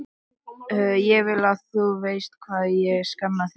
Ég vil að þú vitir hvað ég sakna þín.